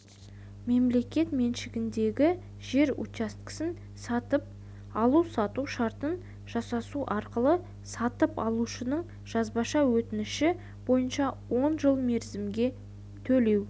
мемлекет меншігіндегі жер учаскесі сатып алу-сату шартын жасасу арқылы сатып алушының жазбаша өтініші бойынша он жыл мерзімге төлеу